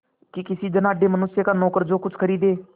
कि किसी धनाढ़य मनुष्य का नौकर जो कुछ खरीदे